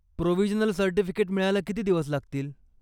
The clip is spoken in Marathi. प्रोविजनल सर्टिफिकेट मिळायला किती दिवस लागतील?